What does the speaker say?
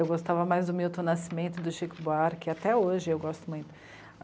Eu gostava mais do Milton Nascimento, do Chico Buarque, até hoje eu gosto muito.